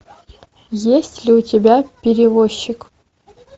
есть ли у тебя перевозчик